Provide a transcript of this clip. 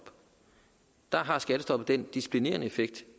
der har skattestoppet den disciplinerende effekt